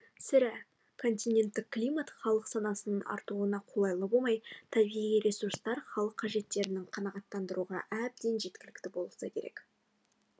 сірә континенттік климат халық санасының артуына қолайлы болмай табиғи ресурстар халык қажеттерін қанағаттандыруға әбден жеткілікті болса керек